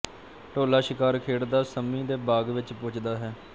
ਢੋਲਾ ਸ਼ਿਕਾਰ ਖੇਡਦਾ ਸੰਮੀ ਦੇ ਬਾਗ਼ ਵਿੱਚ ਪੁੱਜਦਾ ਹੈ